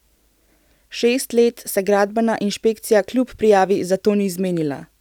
Šest let se gradbena inšpekcija, kljub prijavi, za to ni zmenila.